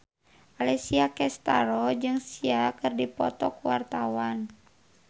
Alessia Cestaro jeung Sia keur dipoto ku wartawan